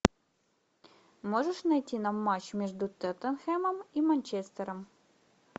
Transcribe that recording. можешь найти нам матч между тоттенхэмом и манчестером